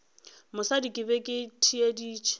mosadi ke be ke theeditše